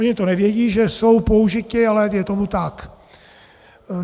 Oni to nevědí, že jsou použiti, ale je tomu tak.